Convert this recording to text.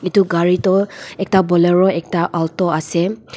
etu gari tu ekta bolero ekta aulto ase.